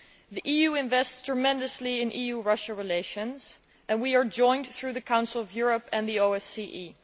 The EU invests tremendously in EU Russia relations, and we are joined through the Council of Europe and the OSCE.